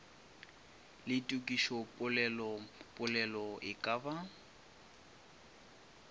le tokišopolelopolelo e ka ba